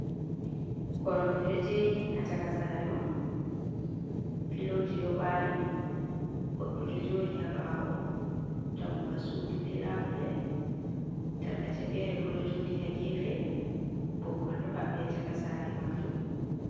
Koromje de jeri hacakasare on filoji do bari goddo dejodi ha bawo dammuga sudu be labule tarkace fere borejodi ha gefe boggollo habbi hacakasare majum.